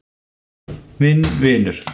Minn vinur.